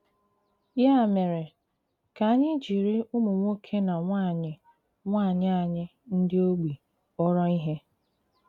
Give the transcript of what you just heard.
Ya mèré, ka ànyị̀ jiri ùmụ̀ nwòkè na nwànyị̀ nwànyị̀ ànyị̀ ndị ogbi k̀pọ̀rọ̀ ihe!